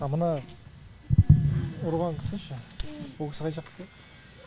а мына ұрған кісі ше ол кісі қай жақтікі